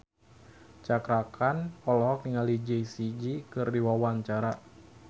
Cakra Khan olohok ningali Jessie J keur diwawancara